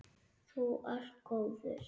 Þú ert góður.